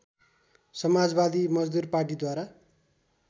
समाजवादी मजदुर पार्टीद्वारा